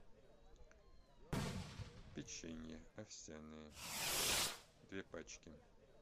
печенье овсяное две пачки